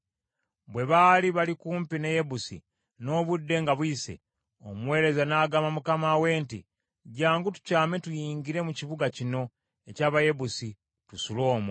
Bwe baali bali kumpi ne Yebusi, n’obudde nga buyise, omuweereza n’agamba mukama we nti, “Jjangu tukyame tuyingire mu kibuga kino eky’Abayebusi tusule omwo.”